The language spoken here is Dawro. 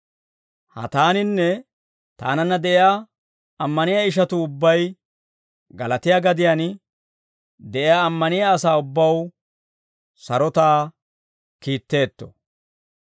Ha taaninne taananna de'iyaa ammaniyaa ishatuu ubbay, Galaatiyaa gadiyaan de'iyaa ammaniyaa asaa ubbaw sarotaa kiitteetto.